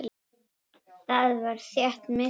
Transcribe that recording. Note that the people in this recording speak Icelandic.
Þar var þétt myrkur.